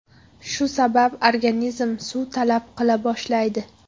Shu sabab organizm suv talab qila boshlaydi.